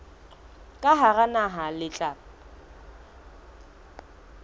ka hara naha le tla